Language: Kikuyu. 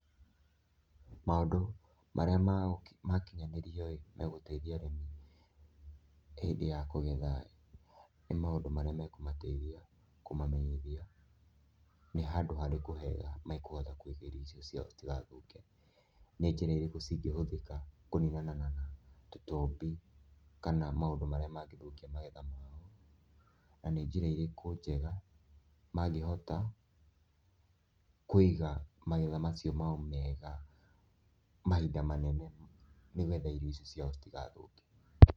Maũndũ marĩa makinyanĩrio ĩ, megũteithia arĩmi hĩndĩ ya kũgetha ĩ, nĩ maũndũ marĩa makũmateithia kũmamenyithia nĩ handũ harĩkũ hega mekũhota kwenderia irio icio ciao itigathũke, nĩ njĩra irĩkũ cingĩhũthĩka kũninana na tũtambi kana maũndũ marĩa mangĩthũkia magetha mao, na nĩ njĩra irĩkũ njega mangĩhota kũiga magetha macio mao mega mahinda manene nĩgetha irio ici ciao citigathũke.